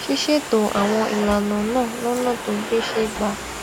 ṣíṣètò àwọn ìlànà náà lónà tó gbéṣé gba